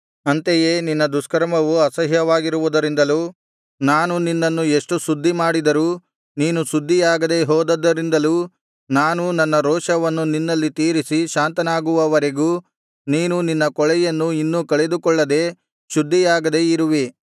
ಅಂತೆಯೇ ನಿನ್ನ ದುಷ್ಕರ್ಮವು ಅಸಹ್ಯವಾಗಿರುವುದರಿಂದಲೂ ನಾನು ನಿನ್ನನ್ನು ಎಷ್ಟು ಶುದ್ಧಿಮಾಡಿದರೂ ನೀನು ಶುದ್ಧಿಯಾಗದೆ ಹೋದದ್ದರಿಂದಲೂ ನಾನು ನನ್ನ ರೋಷವನ್ನು ನಿನ್ನಲ್ಲಿ ತೀರಿಸಿ ಶಾಂತನಾಗುವವರೆಗೂ ನೀನು ನಿನ್ನ ಕೊಳೆಯನ್ನು ಇನ್ನು ಕಳೆದುಕೊಳ್ಳದೆ ಶುದ್ಧಿಯಾಗದೆ ಇರುವಿ